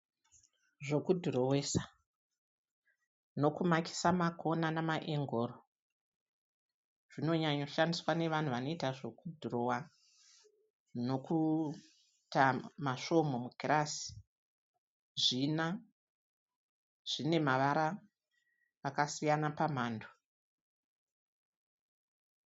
Zvekudhorowesa nekumakisa makona nemaengoro zvinonyanya kushandiswa nevanhu vanoita zvekudhirowa nekuita masvomhu mukirasi. Zvina, zvinamavara akasiyana pamhando.